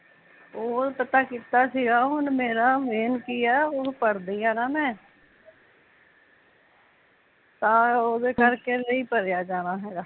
ਓਹ ਪਤਾ ਕੀਤਾ ਸੀਗਾ ਹੁਣ ਮੇਰਾ ਮੇਨ ਕੀ ਐ ਓਹ ਪੜਦੀ ਆ ਨਾ ਮੈ ਤਾਂ ਉਹਦੇ ਕਰ ਕੇ ਨਹੀਂ ਭਰਿਆ ਜਾਣਾ ਹੈਗਾ